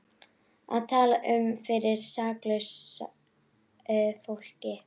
Að tala um fyrir saklausu fólki